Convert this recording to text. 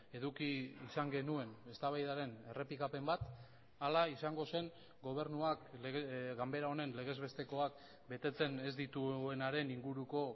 eduki izan genuen eztabaidaren errepikapen bat ala izango zen gobernuak ganbera honen legezbestekoak betetzen ez dituenaren inguruko